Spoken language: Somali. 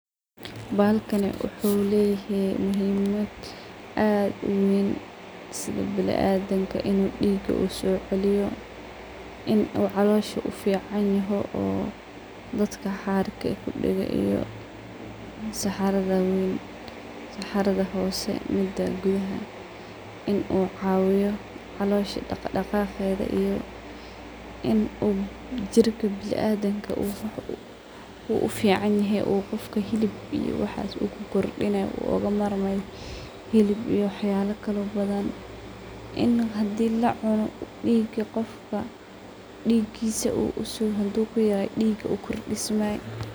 Bahalkaani wuxu laahay muhiimad aad u weyn sidho binadimka diig uso ciliyo in oo caloosha u ficaniho oo dadka xaarka kudage iyo saxardha weyn. Saxardha hoose midaan biyaha in u cawiyo caloosha daq daqatkedha in u jirka binadimka u uficanyahe oo qofka xilib iyo waxaas uu ku kordinayo oo oga marmayo xilib iyo wax yaala badhan in uu hadi lacuno diigka qofka digiisa hadu kuyarayo ukordismayo.